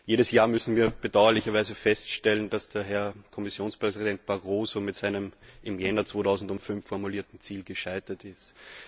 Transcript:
Jedes Jahr müssen wir bedauerlicherweise feststellen, dass Herr Kommissionspräsident Barroso mit seinem im Januar 2005 formulierten Ziel gescheitert ist.